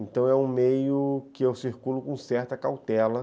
Então é um meio que eu circulo com certa cautela.